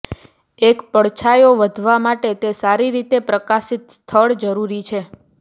એક પડછાયો વધવા માટે તે સારી રીતે પ્રકાશિત સ્થળ જરૂરી છે